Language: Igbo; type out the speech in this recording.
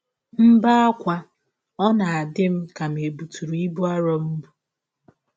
M bee ákwá, ọ na - adị m ka è bụtụrụ m ibụ arọ m bụ.